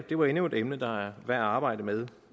det var endnu et emne der er værd at arbejde med